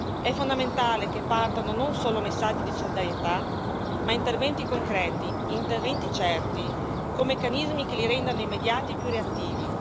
È fondamentale che partano non solo messaggi di solidarietà ma interventi concreti, interventi certi, con meccanismi che li rendano immediati e più reattivi.